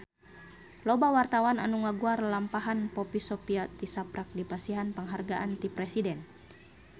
Loba wartawan anu ngaguar lalampahan Poppy Sovia tisaprak dipasihan panghargaan ti Presiden